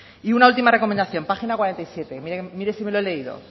y una última recomendación página cuarenta y siete mire si me lo he leído